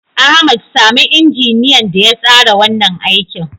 Ahmad, sami injiniyan da ya tsara wannan aikin.